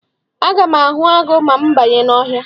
Aga m ahụ agụ ma m banye n'ọhịa.